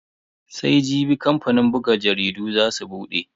Sai Jibi kamfanin buga jaridun za su bude.